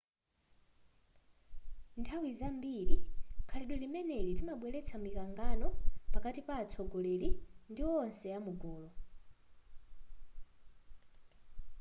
nthawi zambiri khalidwe limeneli limabweretsa mikangano pakati pa atsogoleri ndi wonse amugulu